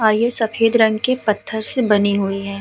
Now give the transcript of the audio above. और ये सफेद रंग के पत्थर से बनी हुई है।